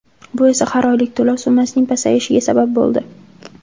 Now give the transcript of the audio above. Bu esa har oylik to‘lov summasining pasayishiga sabab bo‘ldi.